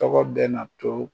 Tɔgɔ bɛ na to